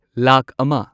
ꯂꯥꯈ ꯑꯃ